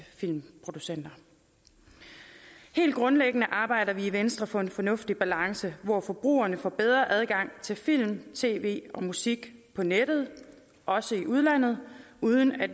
filmproducenter helt grundlæggende arbejder vi i venstre for en fornuftig balance hvor forbrugerne får bedre adgang til film tv og musik på nettet også i udlandet uden at